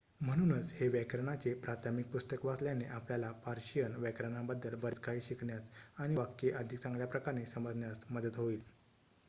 म्हणूनच हे व्याकरणाचे प्राथमिक पुस्तक वाचल्याने आपल्याला पर्शियन व्याकरणाबद्दल बरेच काही शिकण्यास आणि वाक्ये अधिक चांगल्याप्रकारे समजण्यास मदत होईल